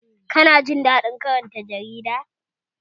Kana jin daɗin karanta jarida?